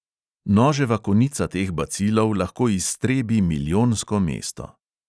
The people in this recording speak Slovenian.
Noževa konica teh bacilov lahko iztrebi milijonsko mesto.